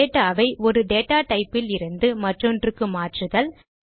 data ஐ ஒரு type லிருந்து மற்றொன்றுக்கு மாற்றுதல்